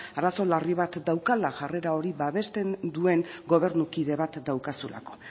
arazo larri bat daukala jarrera hori babesten duen gobernu kide bat daukazulako